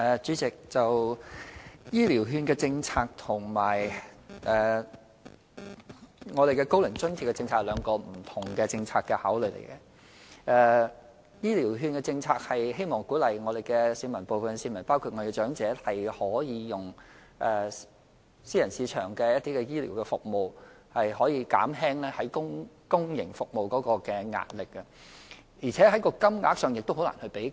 主席，"醫療券"政策和"高齡津貼"政策有兩種不同考慮，"醫療券"政策旨在鼓勵部分市民包括長者使用私人市場的醫療服務，以減輕公營服務面對的壓力，而且在金額方面也難以比較。